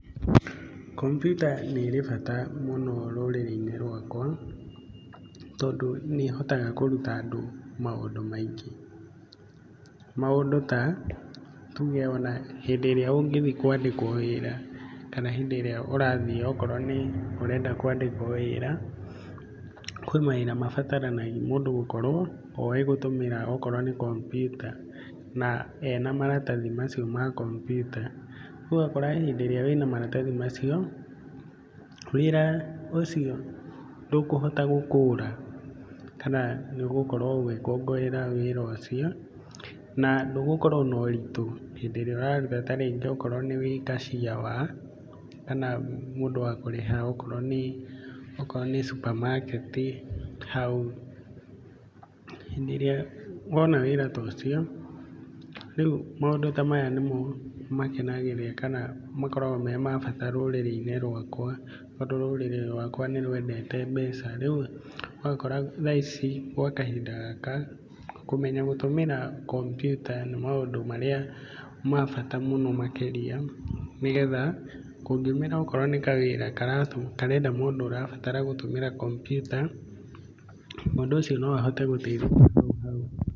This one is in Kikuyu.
Komputa nĩrĩ bata mũno rũrĩrĩ-inĩ rũakwa tondũ nĩ ĩhotaga kũruta andũ maũndũ maingĩ. Maũndũ ta, nĩ tuge ona hĩndĩ ĩrĩa ũngĩthi kwandĩkwo wĩra kana hĩndĩ ĩrĩa ũrathi okorwo nĩ, ũrenda kwandĩkwo wĩra, kwĩ mawĩra mabataranagia mũndũ gũkorwo oĩ gũtũmĩraokorwo nĩ komputa na ena maratathi macio ma komputa. Ũgakora hĩndĩ ĩrĩa wĩna maratathi macio, wĩra ũcio ndũkũhota gũkũra kana nĩ ũgũkorwo ũgĩkũngũĩra wĩra ũcio na ndũgũkorwo noritũ hĩndĩ ĩrĩa ũraruta okorwo nĩ kacia wa kana mũndũ wa kũrĩha okorwo nĩ cupamaketi hau. Hĩndĩ ĩrĩa wona wĩra to cio, rĩu maũndũ ta maya nĩmo makenagĩrĩra kana makoragwo me mabata rũrĩrĩ-inĩ rwakwa tondũ rũrĩrĩ rwakwa nĩ rũendete mbeca. Rĩu ũgakora thaa ici kana kahinda gaka kũmenya gũtũmĩra komputa nĩ maũndũ marĩa ma bata mũno makĩria nĩ getha kũngiumĩra okorwo nĩ kawĩra karenda mũndũ ũrabatara gũtũmĩra komputa, mũndũ ũcio no ahote gũteithĩka hau thutha-inĩ.